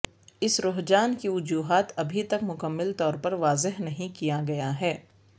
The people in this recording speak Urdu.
اس رجحان کی وجوہات ابھی تک مکمل طور پر واضح نہیں کیا گیا ہے